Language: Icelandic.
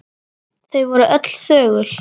Þau voru öll þögul.